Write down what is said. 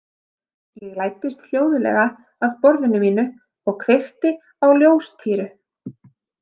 Ég læddist hljóðlega að borðinu mínu og kveikti á ljóstýru.